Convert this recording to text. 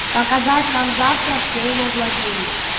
показать нам завтра все его владения